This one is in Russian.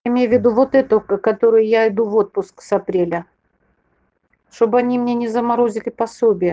имею в виду вот эту которую я иду в отпуск с апреля чтобы они мне не заморозили пособие